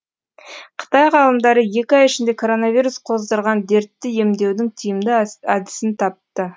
қытай ғалымдары екі ай ішінде коронавирус қоздырған дертті емдеудің тиімді әдісін тапты